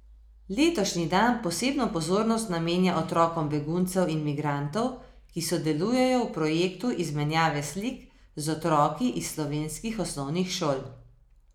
Letošnji dan posebno pozornost namenja otrokom beguncev in migrantov, ki sodelujejo v projektu izmenjave slik z otroki iz slovenskih osnovnih šol.